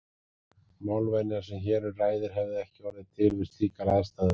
Málvenjan sem hér um ræðir hefði ekki orðið til við slíkar aðstæður.